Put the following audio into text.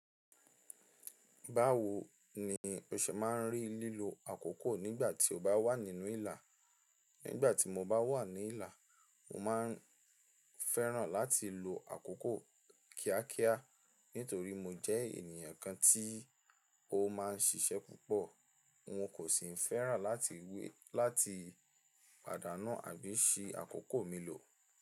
Báwo ni o ṣe máa ń rí lílo àkókò nígbà tí o bá wà nínú ìlà? Nígbà tí mo bá wà ní ìlà, mo máa ń fẹ́ràn láti lo àkókò kíákíá nítorí mo jẹ́ ènìyàn kan tí ó máa ń ṣiṣẹ́ púpọ̀. Wọn kò sì ń fẹ́ràn láti ìwé láti pàdánù àbí si àkókò mi lò.